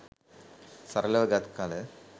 සරලව ගත් කල